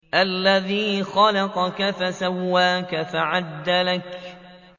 الَّذِي خَلَقَكَ فَسَوَّاكَ فَعَدَلَكَ